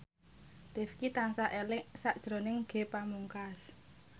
Rifqi tansah eling sakjroning Ge Pamungkas